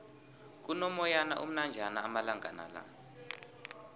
kuno moyana omnanjana amalangala